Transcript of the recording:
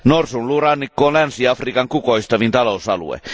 Norsunluurannikko on Länsi Afrikan kukoistavin talousalue.